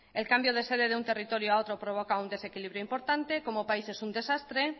el cambio de sede de un territorio a otro provoca un desequilibrio importante como país es un desastre